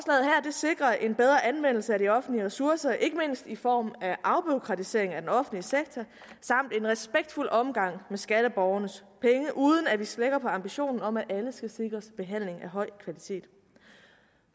sikrer en bedre anvendelse af de offentlige ressourcer ikke mindst i form af afbureaukratisering af den offentlige sektor samt en respektfuld omgang med skatteborgernes penge uden at vi slækker på ambitionen om at alle skal sikres behandling af høj kvalitet